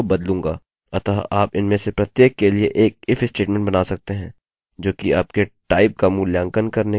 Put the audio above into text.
अतः आप इनमें से प्रत्येक के लिए एक if स्टेटमेंट बना सकते हैं जो कि आपके टाइप का मूल्यांकन करने के लिए और आपके साइज का मूल्यांकन करने के लिए है